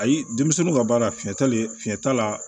Ayi denmisɛnninw ka baara fiɲɛ talen fiɲɛ t'a la